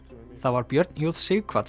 það var Björn j